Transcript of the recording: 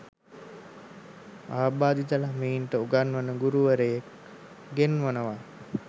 ආබාධිත ළමයින්ට උගන්වන ගුරුවරයෙක් ගෙන්වනවා